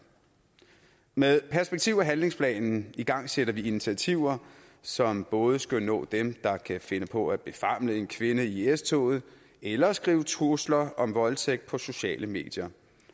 med perspektiv og handlingsplanen igangsætter vi initiativer som både skal nå dem der kan finde på at befamle en kvinde i s toget eller skrive trusler om voldtægt på sociale medier